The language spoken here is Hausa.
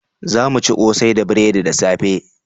Za mu ci kosai da buredi da safe